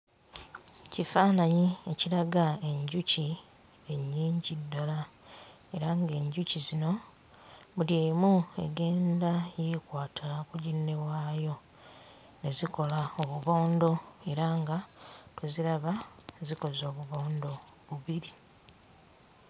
Kifaananyi ekiraga enjuki ennyingi ddala era ng'enjuki zino buli emu egenda yeekwata ku ginne waayo ne zikola obubondo era nga tuziraba zikoze obubondo bubiri.